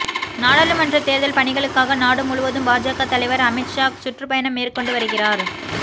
நாடாளுமன்றத் தேர்தல் பணிகளுக்காக நாடு முழுவதும் பாஜக தலைவர் அமித் ஷா சுற்றுப்பயணம் மேற்கொண்டு வருகிறார்